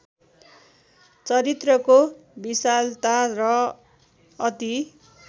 चरित्रको विशालता र अति